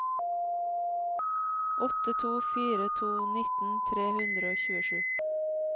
åtte to fire to nitten tre hundre og tjuesju